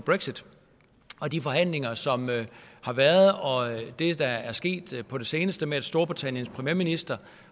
brexit og de forhandlinger som har været og det der er sket på det seneste med at storbritanniens premierminister